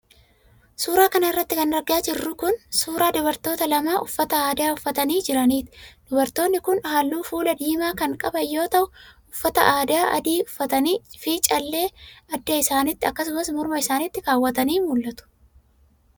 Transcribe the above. Suura kana irratti kan argaa jirru kan, suura dubartoota lamaa uffata aadaa uffatanii jiraniiti. Dubartoonni kun haalluu fuulaa diimaa kan qaban yoo ta'u, uffata aadaa adii uffatanii fi callee adda isaanitti akkasumas morma isaanitti kaawwatanii mul'atu.